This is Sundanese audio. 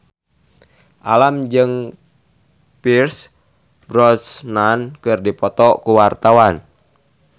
Alam jeung Pierce Brosnan keur dipoto ku wartawan